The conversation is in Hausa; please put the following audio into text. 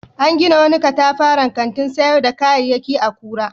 An gina wani katafaren kantin sayar da kayayyaki a Kura.